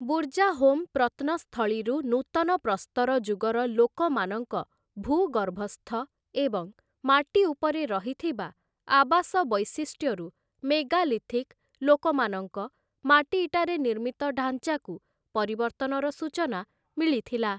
ବୁର୍ଜାହୋମ୍ ପ୍ରତ୍ନସ୍ଥଳୀରୁ ନୂତନ ପ୍ରସ୍ତର ଯୁଗର ଲୋକମାନଙ୍କ ଭୂଗର୍ଭସ୍ଥ ଏବଂ ମାଟିଉପରେ ରହିଥିବା ଆବାସ ବୈଶିଷ୍ଟ୍ୟରୁ ମେଗାଲିଥିକ ଲୋକମାନଙ୍କ ମାଟିଇଟାରେ ନିର୍ମିତ ଢାଞ୍ଚାକୁ ପରିବର୍ତ୍ତନର ସୂଚନା ମିଳିଥିଲା ।